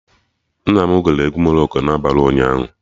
Nna m gere egwu Morocco na abalị ụnyaahụ